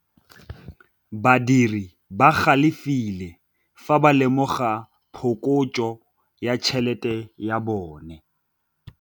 Badiri ba galefile fa ba lemoga phokotsô ya tšhelête ya bone.